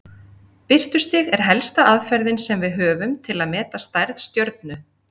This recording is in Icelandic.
Birtustig er helsta aðferðin sem við höfum til að meta stærð stjörnu.